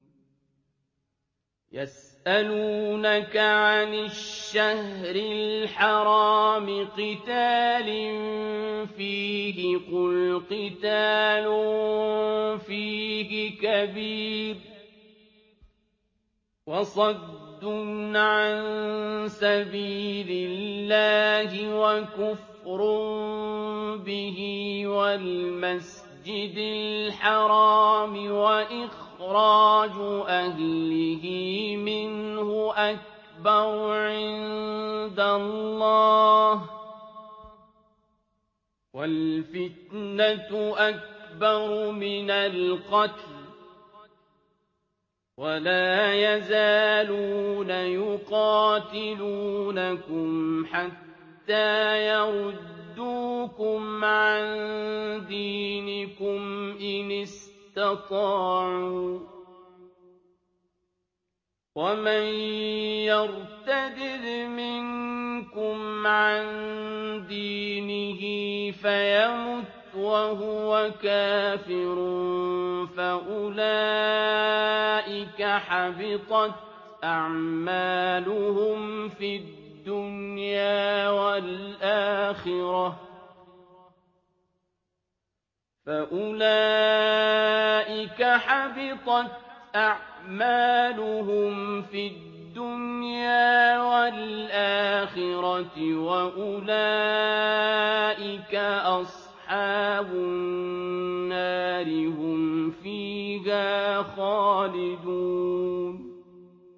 يَسْأَلُونَكَ عَنِ الشَّهْرِ الْحَرَامِ قِتَالٍ فِيهِ ۖ قُلْ قِتَالٌ فِيهِ كَبِيرٌ ۖ وَصَدٌّ عَن سَبِيلِ اللَّهِ وَكُفْرٌ بِهِ وَالْمَسْجِدِ الْحَرَامِ وَإِخْرَاجُ أَهْلِهِ مِنْهُ أَكْبَرُ عِندَ اللَّهِ ۚ وَالْفِتْنَةُ أَكْبَرُ مِنَ الْقَتْلِ ۗ وَلَا يَزَالُونَ يُقَاتِلُونَكُمْ حَتَّىٰ يَرُدُّوكُمْ عَن دِينِكُمْ إِنِ اسْتَطَاعُوا ۚ وَمَن يَرْتَدِدْ مِنكُمْ عَن دِينِهِ فَيَمُتْ وَهُوَ كَافِرٌ فَأُولَٰئِكَ حَبِطَتْ أَعْمَالُهُمْ فِي الدُّنْيَا وَالْآخِرَةِ ۖ وَأُولَٰئِكَ أَصْحَابُ النَّارِ ۖ هُمْ فِيهَا خَالِدُونَ